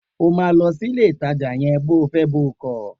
O máa lọ sílé ìtajà yẹn bo fẹ́ bo kọ̀!